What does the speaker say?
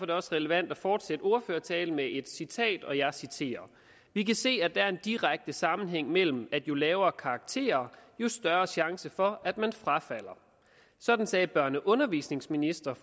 det også relevant at fortsætte ordførertalen med et citat og jeg citerer vi kan se at der er en direkte sammenhæng mellem at jo lavere karakterer jo større chance for at man frafalder sådan sagde børne og undervisningsministeren